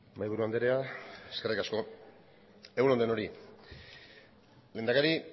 mahaiburu andrea eskerrik asko egun on denori lehendakari